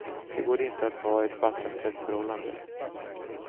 Det går inte att ha ett vattentätt förhållande.